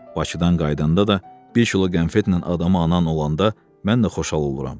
Bakıdan qayıdanda da bir kilo qənfetlə adamın anan olanda, mən də xoşhal oluram.